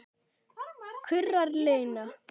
kurrar Lena.